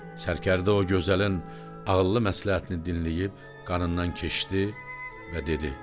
Sərkərdə o gözəlin ağıllı məsləhətini dinləyib qanından keçdi və dedi: